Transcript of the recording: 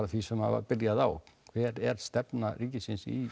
því sem var byrjað á hver er stefna ríkisins í